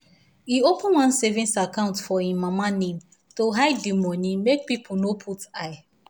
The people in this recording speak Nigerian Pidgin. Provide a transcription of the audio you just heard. he open one savings account for him mama name to hide the money make people no put eye.